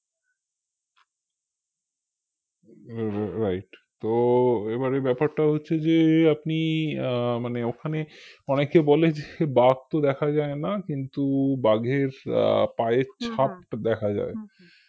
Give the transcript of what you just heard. ri~right তো এবারে বেপারটা হচ্ছে যে আপনি আহ মানে ওখানে অনেককে বললেন যে বাঘ তো যায় না কিন্তু বাঘের আহ পায়ের ছাপটা দেখা যায়